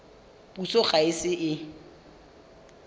puso ga e ise e